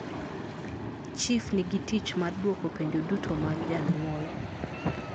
Chif nigitich mar duoko penjo duto mag januol